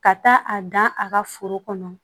Ka taa a dan a ka foro kɔnɔ